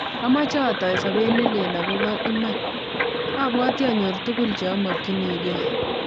"Amache atoi sobet ne leel akobo iman, abwati anyor tugul che amakyinigei ."